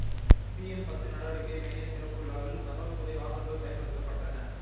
PN பத்து நடவடிக்கை மய்யத் திறப்பு விழாவில் தகவல் துறை வாகனங்கள் பயன்படுத்தப்பட்டன